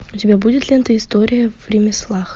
у тебя будет лента история в ремеслах